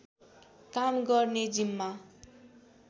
काम गर्ने जिम्मा